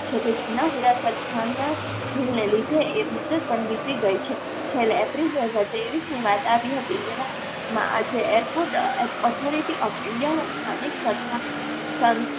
જોકે જૂન હીરાસર સ્થાનના હિલ ને લીધે એ મુદત પણ વીતી ગઈ છે. છેલ્લે એપ્રિલ બે હજાર ત્રેવીસની વાત આવી હતી. એવામાં આજે airport એ authority of india ના સ્થાનિક સંસ્થા સન